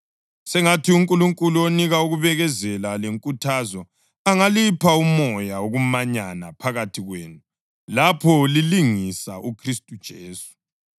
Sengathi uNkulunkulu onika ukubekezela lenkuthazo angalipha umoya wokumanyana phakathi kwenu lapho lilingisa uKhristu Jesu,